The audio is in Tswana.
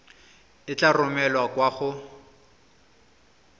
e tla romelwa kwa go